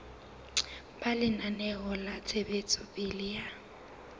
ba lenaneo la ntshetsopele ya